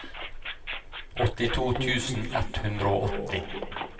åttito tusen ett hundre og åtti